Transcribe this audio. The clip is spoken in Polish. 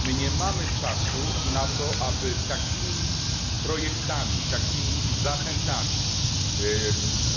My nie mamy czasu na to, aby takimi projektami, takimi zachętami